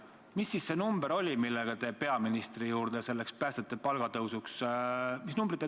Mis siis see number oli, millega te peaministri juurde läksite?